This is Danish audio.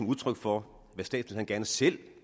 udtryk for hvad statsministeren selv